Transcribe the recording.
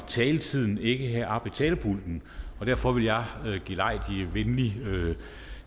af taletiden ikke heroppe ved talerpulten og derfor vil jeg venligt gelejde